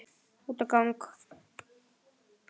Út á gang.